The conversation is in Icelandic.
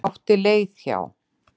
Átti leið hjá.